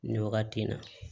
Nin wagati in na